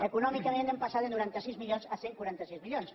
econòmicament hem passat de noranta sis milions a cent i quaranta sis milions